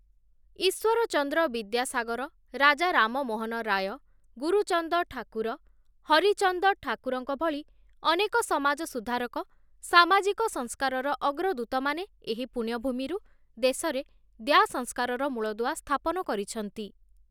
ଇଶ୍ୱର ଚନ୍ଦ୍ର ବିଦ୍ୟାସାଗର, ରାଜା ରାମମୋହନ ରାୟ, ଗୁରୁଚନ୍ଦ ଠାକୁର, ହରିଚନ୍ଦ ଠାକୁରଙ୍କ ଭଳି ଅନେକ ସମାଜ ସୁଧାରକ, ସାମାଜିକ ସଂସ୍କାରର ଅଗ୍ରଦୂତମାନେ ଏହି ପୁଣ୍ୟ ଭୂମିରୁ ଦେଶରେ ଦ୍ୟା ସଂସ୍କାରର ମୂଳଦୁଆ ସ୍ଥାପନ କରିଛନ୍ତି ।